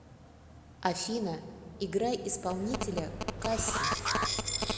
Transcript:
афина играй исполнителя касси